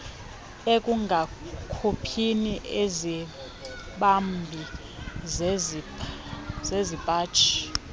ekungakhuphini izibambi zesipaji